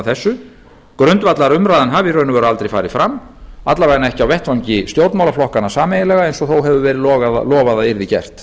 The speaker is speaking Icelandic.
að þessu grundvallarumræðan hafi í raun og veru aldrei farið fram alla vega ekki á vettvangi stjórnmálaflokkanna sameiginlega eins og þó hefur verið lofað að yrði gert